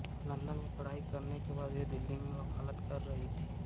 London में पढ़ाई करने के बाद वे दिल्ली में वकालत कर रही थीं